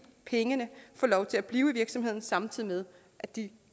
pengene får lov til at blive i virksomheden samtidig med at de